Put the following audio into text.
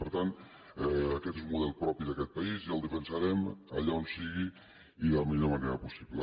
per tant aquest és un model propi d’aquest país i el defensarem allà on sigui i de la millor manera possible